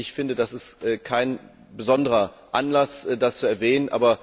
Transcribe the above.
Ich finde, das ist kein besonderer Anlass, das zu erwähnen.